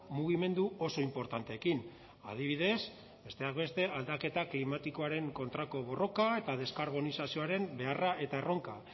mugimendu oso inportanteekin adibidez besteak beste aldaketa klimatikoaren kontrako borroka eta deskarbonizazioaren beharra eta erronka